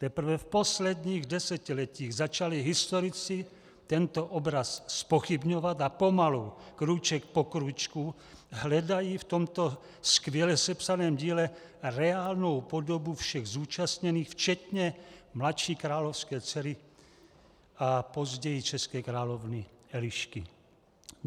Teprve v posledních desetiletích začali historici tento obraz zpochybňovat a pomalu, krůček po krůčku, hledají v tomto skvěle sepsaném díle reálnou podobu všech zúčastněných včetně mladší královské dcery a později české královny Elišky."